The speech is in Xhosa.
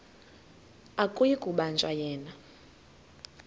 akuyi kubanjwa yena